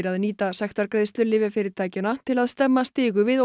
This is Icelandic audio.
að nýta sektargreiðslur lyfjafyrirtækjanna til að stemma stigu við